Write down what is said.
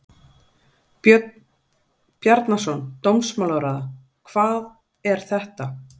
Björn Bjarnason, dómsmálaráðherra: Hvað er þetta?